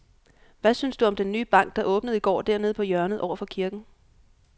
Hvad synes du om den nye bank, der åbnede i går dernede på hjørnet over for kirken?